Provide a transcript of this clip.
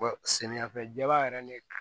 samiyɛ fɛla yɛrɛ ne